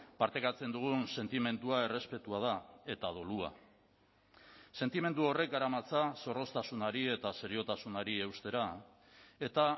partekatzen dugun sentimendua errespetua da eta dolua sentimendu horrek garamatza zorroztasunari eta seriotasunari eustera eta